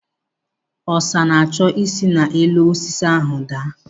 Ọsa na-achọ isi n'elu osisi ahụ daa.